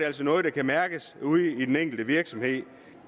altså noget der kan mærkes ude i den enkelte virksomhed